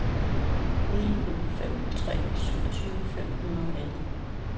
ni otte fem tre syvogtyve fem hundrede og atten